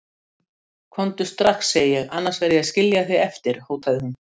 Hún var líka skrælþurr í munninum svo hún gat varla talað.